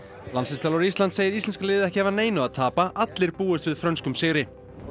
landsliðsþjálfari Íslands segir íslenska liðið ekki hafa neinu að tapa allir búist við frönskum sigri